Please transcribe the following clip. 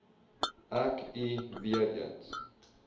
ek u weereens